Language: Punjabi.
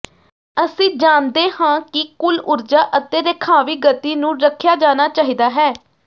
ਅਸੀਂ ਜਾਣਦੇ ਹਾਂ ਕਿ ਕੁੱਲ ਊਰਜਾ ਅਤੇ ਰੇਖਾਵੀਂ ਗਤੀ ਨੂੰ ਰੱਖਿਆ ਜਾਣਾ ਚਾਹੀਦਾ ਹੈ